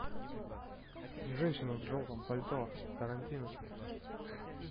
женщина в желтом пальто тарантино